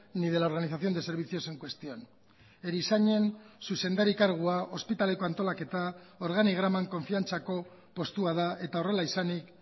ni de la organización de servicios en cuestión erizainen zuzendari kargua ospitaleko antolaketa organigraman konfiantzako postua da eta horrela izanik